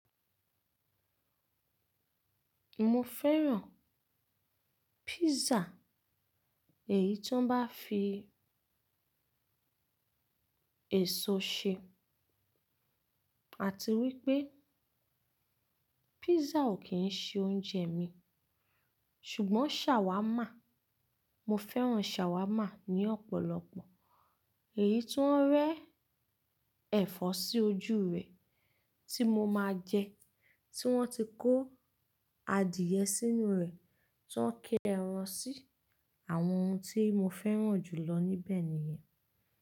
Mo fẹ́ràn písà, èyí ti woń bá fi èso ṣe àti wípé písà ò kí ń ṣe oúnjẹ mi. Ṣùgbọ́n ṣàwámà, mo fẹ́ràn ṣàwámà ní ọ̀pọ̀lọpọ̀. Èyí tó ń rẹ́ ẹ̀fọ́ sí ojú rẹ̀ tí mo máa jẹ, tí wọ́n ti kó adìẹ sínú rẹ̀, tí wọ́n ń ke ẹran sí i. Àwọn ohun tí mo fẹ́ràn jù lọ níbẹ̀ nìyẹn.